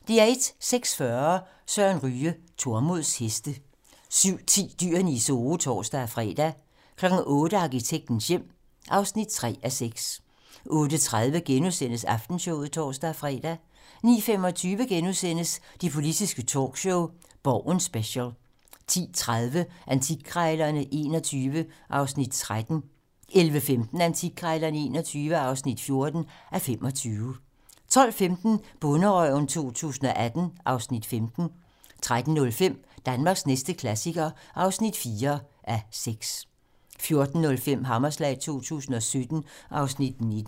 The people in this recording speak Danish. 06:40: Søren Ryge: Tormods heste 07:10: Dyrene i Zoo (tor-fre) 08:00: Arkitektens hjem (3:6) 08:30: Aftenshowet *(tor-fre) 09:25: Det politiske talkshow - Borgen special * 10:30: Antikkrejlerne XXI (13:25) 11:15: Antikkrejlerne XXI (14:25) 12:15: Bonderøven 2018 (Afs. 15) 13:05: Danmarks næste klassiker (4:6) 14:05: Hammerslag 2017 (Afs. 19)